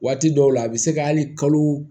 Waati dɔw la a bɛ se ka hali kalo